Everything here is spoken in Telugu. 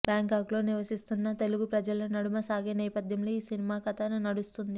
బ్యాంకాక్లో నివసిస్తున్న తెలుగు ప్రజల నడుమ సాగే నేపధ్యంలో ఈ సినిమా కధ నడుస్తుంది